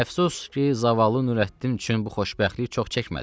Əfsus ki, zavallı Nürəddin üçün bu xoşbəxtlik çox çəkmədi.